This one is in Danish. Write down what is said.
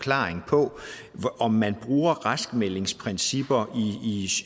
om man bruger raskmeldingsprincipper